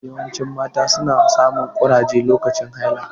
Yawancin mata su na samun ƙurage lokacin haila